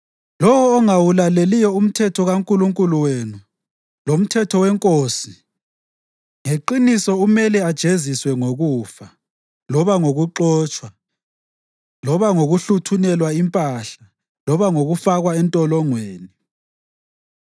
Lowo ongawulaleliyo umthetho kaNkulunkulu wenu lomthetho wenkosi ngeqiniso umele ajeziswe ngokufa, loba ngokuxotshwa, loba ngokuhluthunelwa impahla loba ngokufakwa entolongweni.